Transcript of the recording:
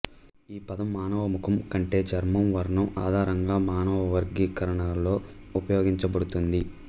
ఈపదం మానవముఖం కంటే చర్మం వర్ణం ఆధారంగా మానవవర్గీకరణలో ఉపయోగించబడుతుంది